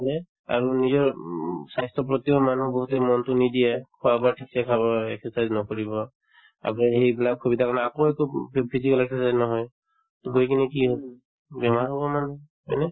হয়নে আৰু নিজৰ উম স্বাস্থ্যৰ প্ৰতিও মানুহে বহুতে মনতো নিদিয়ে খোৱা-বোৱা ক্ষেত্ৰত exercise নকৰিব আকৌ সেই এইবিলাক সুবিধাৰ কাৰণে আকৌ to phy physical exercise নহয় to গৈ কিনে হল বেমাৰ হব মানুহৰ হয়নে